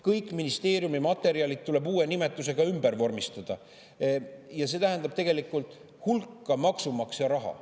Kõik ministeeriumi materjalid tuleb uue nimetusega ümber vormistada ja see tähendab tegelikult hulka maksumaksja raha.